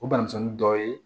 O banamisɛnnin dɔw ye